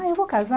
Ah, eu vou casar.